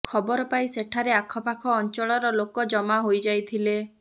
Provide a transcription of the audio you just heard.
ଖବର ପାଇ ସେଠାରେ ଆଖପାଖ ଅଞ୍ଚଳର ଲୋକ ଜମା ହୋଇଯାଇଥିଲେ